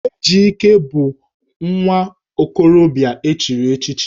Ejike bụ nwa okorobịa e chiri echichi